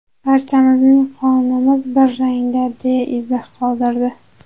Barchamizning qonimiz bir rangda” deya izoh qoldirdi.